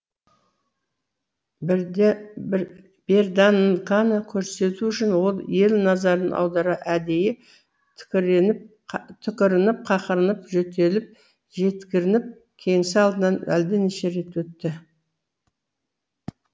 берданканы көрсету үшін ол ел назарын аудара әдейі түкірініп қақырынып жөтеліп жеткірініп кеңсе алдынан әлденеше рет өтті